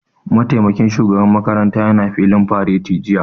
Mataimakin shugaban makaranta ya na filin fareti jiya